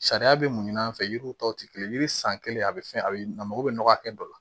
Sariya bɛ mun an fɛ yiriw tɔ te kelen ye yiri san kelen a bɛ fɛn a bɛ a mago bɛ nɔgɔ hakɛ dɔ la